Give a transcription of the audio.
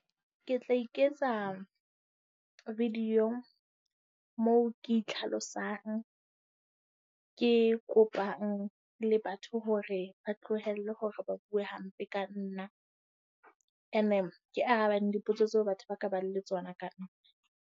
Ke tla iketsa video moo ke itlhalosang, ke kopang le batho hore ba tlohelle hore ba bue hampe ka nna. Ene ke arabane dipotso tseo batho ba ka bang le tsona ka nna.